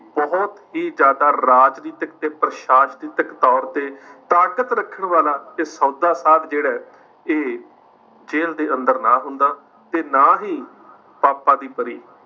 ਬਹੁਤ ਹੀ ਜ਼ਿਆਦਾ ਰਾਜਨੀਤਿਕ ਤੇ ਪ੍ਰਸ਼ਾਸਨਿਕ ਤੌਰ ਤੇ ਤਾਕਤ ਰੱਖਣ ਵਾਲਾ ਸੌਦਾ ਸਾਧ ਜਿਹੜਾ ਹੈ ਇਹ ਜੇਲ੍ਹ ਦੇ ਅੰਦਰ ਨਾ ਹੁੰਦਾ ਤੇ ਨਾ ਹੀ, ਪਾਪਾ ਦੀ ਪਰੀ